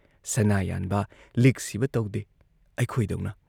ꯁꯅꯥ ꯌꯥꯟꯕ, ꯂꯤꯛ ꯁꯤꯕ ꯇꯧꯗꯦ ꯑꯩꯈꯣꯏꯗꯧꯅ ꯫